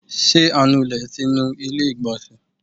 ti anulè ti nú ilé igbonse?